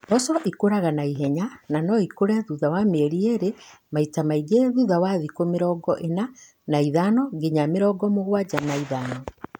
Mboco nĩ ikũraga na ihenya na no ikũre thutha wa mĩeri ĩĩrĩ, maita maingĩ thutha wa thikũ mĩrongo ĩna na ithano nginya mĩrongo mũgwanja na ithano